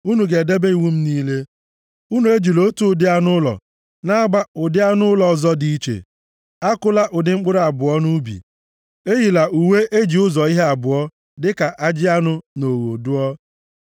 “ ‘Unu ga-edebe iwu m niile. “ ‘Unu ejila otu ụdị anụ ụlọ unu na-agba ụdị anụ ụlọ ọzọ dị iche. “ ‘Akụla ụdị mkpụrụ abụọ nʼubi. “ ‘Eyila uwe e ji ụzọ ihe abụọ, dịka ajị anụ na ogho dụọ.